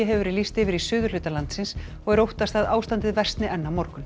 hefur verið lýst yfir í suðurhluta landsins og er óttast að ástandið versni enn á morgun